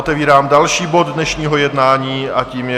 Otevírám další bod dnešního jednání, a tím je...